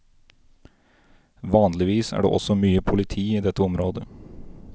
Vanligvis er det også mye politi i dette området.